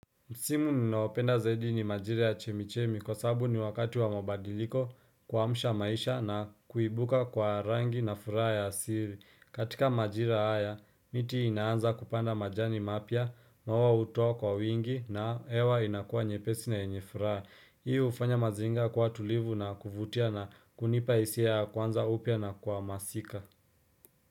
Msimu ninaopenda zaidi ni majira ya chemichemi kwa sabu ni wakati wa mabadiliko kuamsha maisha na kuibuka kwa rangi na furaha ya siri. Katika majira haya, miti inaanza kupanda majani mapya, maua hutoa kwa wingi na hewa inakua nyepesi na nyenye furaha. Hii hufanya mazingira kuwa tulivu na kuvutia na kunipa hisia ya kuanza upya na kuhamasika.